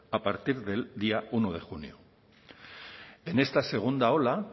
a partir del día uno de junio en esta segunda ola